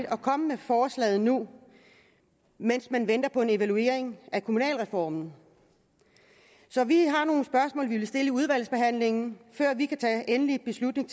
at komme med forslaget nu mens man venter på en evaluering af kommunalreformen så vi har nogle spørgsmål vi vil stille i udvalgsbehandlingen før vi kan tage endelig beslutning